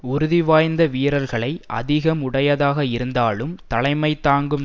உறுதிவாய்ந்த வீரர்களை அதிகம் உடையதாக இருந்தாலும் தலைமை தாங்கும்